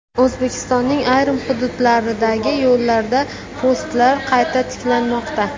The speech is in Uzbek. O‘zbekistonning ayrim hududlaridagi yo‘llarda postlar qayta tiklanmoqda.